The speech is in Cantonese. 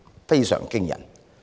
非常驚人。